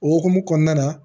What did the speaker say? O hukumu kɔnɔna na